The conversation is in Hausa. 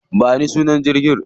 Ba ni sunan jirgin.